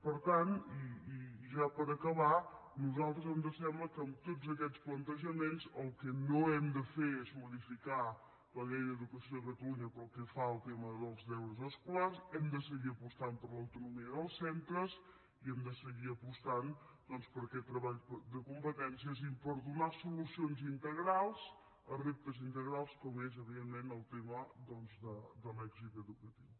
per tant i ja per acabar a nosaltres ens sembla que amb tots aquests plantejaments el que no hem de fer és modificar la llei d’educació de catalunya pel que fa al tema dels deures escolars hem de seguir apostant per l’autonomia dels centres i hem de seguir apostant doncs per aquest treball de competències i per donar solucions integrals a reptes integrals com és evidentment el tema de l’èxit educatiu